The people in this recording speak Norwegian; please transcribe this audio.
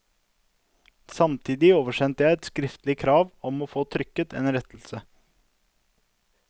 Samtidig oversendte jeg et skriftlig krav om å få trykket en rettelse.